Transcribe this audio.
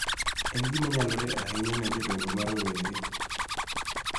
En gima nyalore ahinya ni jodongo ma rowere .